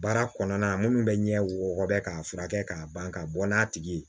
Baara kɔnɔna minnu bɛ ɲɛ wɔɔrɔ bɛ k'a furakɛ k'a ban k'a bɔ n'a tigi ye